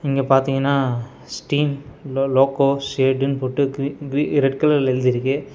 இங்க பாத்தீங்னா ஸ்டீம் லோ லோகோ ஷேடுனு போட்டு க்ரி க்ரி ரெட் கலர்ல எழுதிருக்கு.